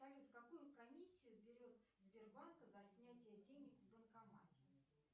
салют какую комиссию берет сбербанк за снятие денег в банкомате